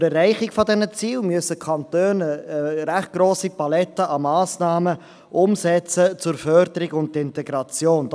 Zur Erreichung dieser Ziele müssen die Kantone eine recht grosse Palette an Massnahmen zur Förderung und Integration umsetzen.